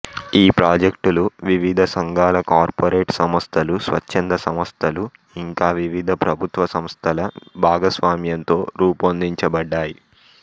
ఈ ప్రాజెక్టులు వివిధ సంఘాలు కార్పొరేట్ సంస్థలు స్వచ్చంద సంస్థలు ఇంకా వివిధ ప్రభుత్వ సంస్థల భాగస్వామ్యంతో రూపొందించబడ్డాయి